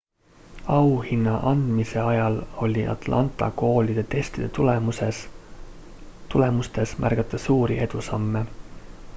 auhinna andmise ajal oli atlanta koolide testide tulemustes märgata suuri edusamme